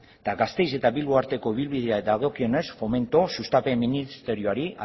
eta gasteiz eta bilbo arteko ibilbidea dagokienez fomento sustapen ministerioari